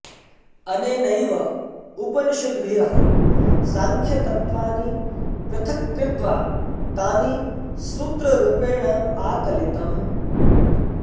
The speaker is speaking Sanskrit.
अनेनैव उपनिषद्भ्यः सांख्यतत्त्वानि पृथक् कृत्वा तानि सूत्ररूपेण आकलितम्